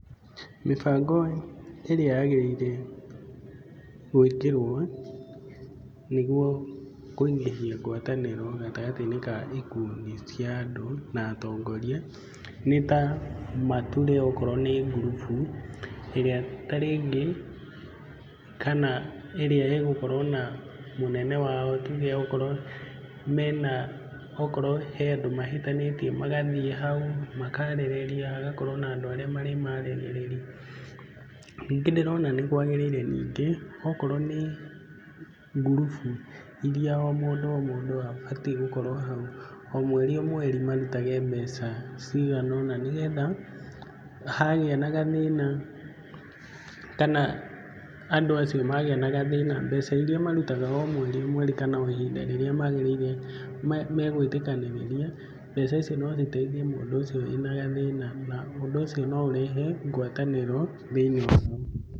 Mĩbango ĩrĩa yagĩrĩire gwĩkĩrwo nĩguo kũingĩhia gwatanĩro gatagatĩ-inĩ ka ikundi cia andũ na atongoria nĩ ta mature okorwo nĩ ngurubu, ĩrĩa ta rĩngĩ kana ĩrĩa ĩgũkorwo na mũnene wao tuge okorwo mena okorwo he andũ mahĩtanĩtie magathiĩ hau, makarĩrĩria hagakorwo na andũ arĩa marĩmaragĩrĩria. Ningĩ ndĩrona nĩkwagĩrĩire ningĩ, okorwo nĩ ngurubu iria o mũndũ o mũndũ abataiĩ gũkorwo hau, o mweri o mweri marutage mbeca cigana ũna nĩgetha hagĩa na gathĩna kana andũ acio magĩa na gathĩna, mbeca iria marutaga o mweri o mweri kana o ihinda rĩrĩa magĩrĩire, megwĩtĩkanĩrĩria mbeca icio no citeithie mũndũ ũcio wĩna gathĩna na ũndũ ũcio no ũrehe ngwatanĩro thĩiniĩ waguo.